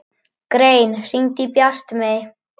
Grein, hringdu í Bjartmey.